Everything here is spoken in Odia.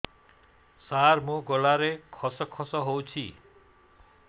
ସାର ମୋ ଗଳାରେ ଖସ ଖସ ହଉଚି